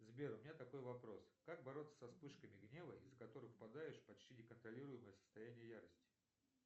сбер у меня такой вопрос как бороться со вспышками гнева из за которых впадаешь в почти неконтролируемое состояние ярости